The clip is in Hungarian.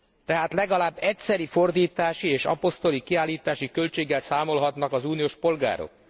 Tehát legalább egyszeri fordítási és apostille kiállítási költséggel számolhatnak az uniós polgárok.